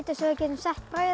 getum sett brauð